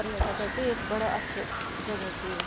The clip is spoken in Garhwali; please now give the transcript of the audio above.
प्रयटक क एक बड़ा अच्छू जगह च या।